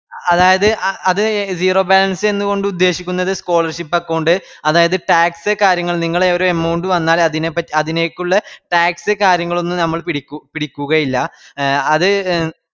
അതായതു അ അത് zero balance എന്ന്കൊണ്ട് ഉദ്ദേശിക്കുന്നത് scholarship account അതായത് tax കാര്യങ്ങൾ നിങ്ങള് ഓര് amount വന്നാല് അതിനെപ് അതിനെക്കുള്ള tax കാര്യങ്ങളൊന്നും നമ്മൾ പിടിക്കു പിടിക്കുകയിക്കില്ല എ അത്